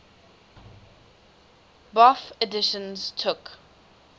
bofh editions took